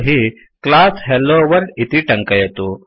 तर्हि class hello world इति टङ्कयतु